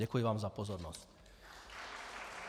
Děkuji vám za pozornost.